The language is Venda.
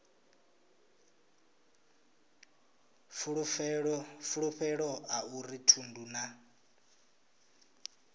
fulufhelo a uri thundu na